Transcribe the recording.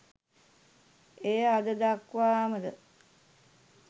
එය අද දක්වාම ද